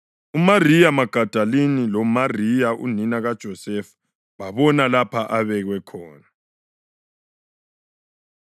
UMariya Magadalini loMariya unina kaJosefa babona lapho abekwa khona.